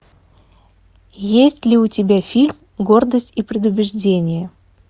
есть ли у тебя фильм гордость и предубеждение